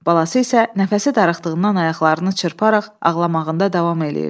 Balası isə nəfəsi darıxdığından ayaqlarını çırparaq ağlamağında davam eləyirdi.